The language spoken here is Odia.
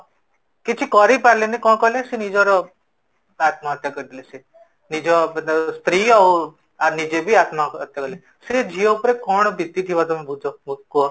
ସେ କିଛି କରି ପାରିଲେନି କଣ କଲେ ସେ ନିଜର ଆତ୍ମହତ୍ୟା କରିଦେଲେ ସେ ନିଜ ସ୍ତ୍ରୀ ଆଉ ନିଜେ ବି ଆତ୍ମହତ୍ୟା କରିଦେଲେ ସେ ଝିଅ ଉପରେ କଣ ବିତିଥିବ ତମ ବୁଝ କୁହ